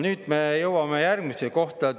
Nüüd me jõuame järgmisesse kohta.